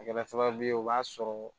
A kɛra sababu ye o b'a sɔrɔ